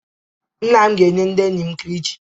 Nna m ga-enye ndị enyi m kilichi.